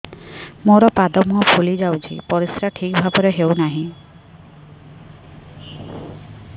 ମୋର ପାଦ ମୁହଁ ଫୁଲି ଯାଉଛି ପରିସ୍ରା ଠିକ୍ ଭାବରେ ହେଉନାହିଁ